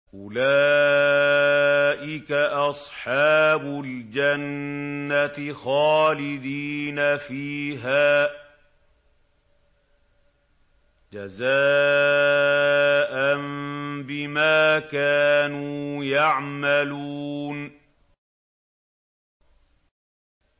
أُولَٰئِكَ أَصْحَابُ الْجَنَّةِ خَالِدِينَ فِيهَا جَزَاءً بِمَا كَانُوا يَعْمَلُونَ